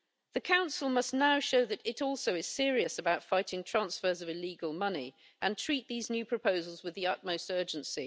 The Council must now show that it also is serious about fighting transfers of illegal money and treat these new proposals with the utmost urgency.